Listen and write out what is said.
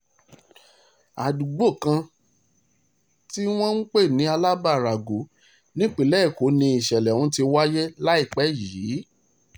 àdúgbò kan tí wọ́n ń pè ní alábà rāgọ nípìnlẹ̀ èkó ni ìṣẹ̀lẹ̀ ọ̀hún ti wáyé láìpẹ́ yìí